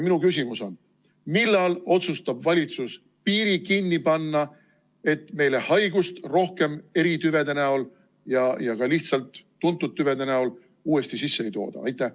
Minu küsimus on: millal otsustab valitsus piiri kinni panna, et meile haigust rohkem eritüvede näol ja ka tuntud tüvede näol sisse ei tooda?